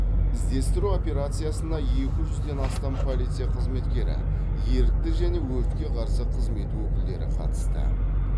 іздестіру операциясына екі жүзден астам полиция қызметкері ерікті және өртке қарсы қызмет өкілдері қатысты